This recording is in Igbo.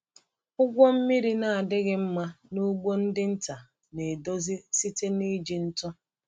Ụgwọ mmiri na-adịghị mma n’ugbo ndị nta na-edozi site n’iji ntụ.